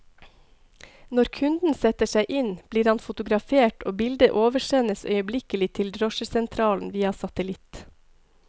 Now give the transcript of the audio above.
Når kunden setter seg inn, blir han fotografert og bildet oversendes øyeblikkelig til drosjesentralen via satellitt.